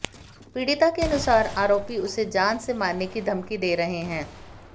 पीड़िता के अनुसार आरोपी उसे जान से मारने की धमकी दे रहे हैं